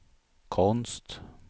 konst